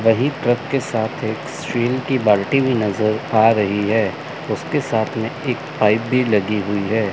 वहीं ट्रक के साथ एक स्टील की बाल्टी भी नजर आ रही है उसके साथ में एक पाइप भी लगी हुई है।